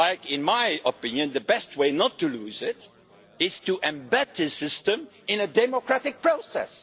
In my opinion, the best way not to lose it is to embed this system in a democratic process.